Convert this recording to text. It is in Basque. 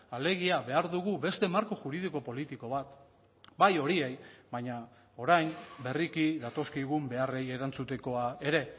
alegia behar dugu beste marko juridiko politiko bat bai horiei baina orain berriki datozkigun beharrei erantzutekoa ere